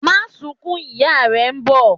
Máa sunkún! ìyá rẹ̀ n bọ̀'